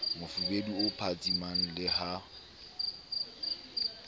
mofubedu o phatsimang le ha